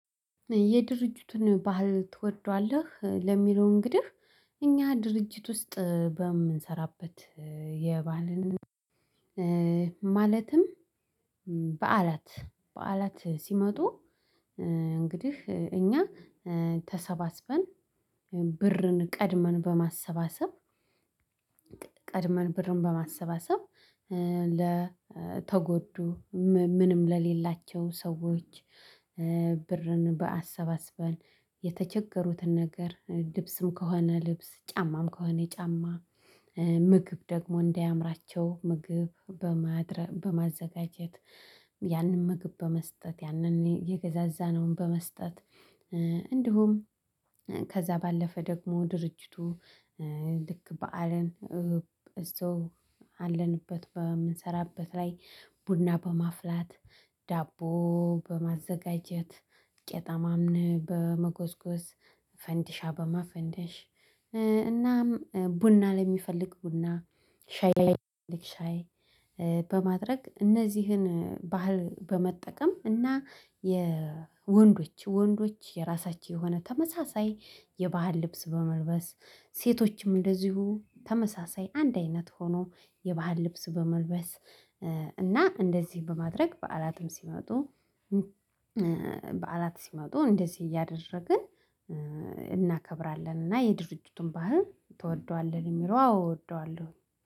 የድርጅቱን ባህል ትወደዋለህ ለሚለው እንግዲህ እኛ ድርጅት ውስጥ በምንሰራበት የባህልን ማለትም በዓላት በዓላት ሲመጡ እንግዲህ እኛ ተሰባስበን ብርን ቀድመን በማሰባሰብ፣ ቀድመን ብርን በማሰባሰብ፣ ለተጎዱ ምንም ለሌላቸው ሰዎች ብርን በአሰባስበን የተቸገሩትን ነገር ልብስም ከሆነ ልብስ፣ ጫማም ከሆነ ጫማ ምግብ ደግሞ እንዳያምራቸው ምግብ በማድረግ በማዘጋጀት፣ ያንን ምግብ በመስጠት፣ ያንን የገዛዛነውን በመስጠት እንዲሁም ከዛ ባለፈ ደግሞ ድርጅቱ ልክ በዓልን እዛው አለንበት በምንሰራበት ላይ ቡና በማፍላት፣ ዳቦ በማዘጋጀት ቄጠማም በመጎዝጎዝ፣ ፈንዲሻ በማፈንደሽ እናም ቡና ለሚፈልግ ቡና፣ ሻይ ለሚፈልግ ሻይ፣ በማድረግ እነዚህን ባህል በመጠቀም እና የወንዶች ወንዶች የራሳቸው የሆነ ተመሳሳይ የባህል ልብስ በመልበስ፣ ሴቶችም እንደዚሁ ተመሳሳይ አንድ አይነት ሆኖ የባህል ልብስ በመልበስ፣ እና እንደዚህ በማድረግ በዓላትም ሲመጡ በዓላት ሲመጡ እንደዚህ እያደረግን እናከብራለን። እና የድርጅቱን ባህል ትወደዋለህ? የሚለው አዎ አወደዋለሁ።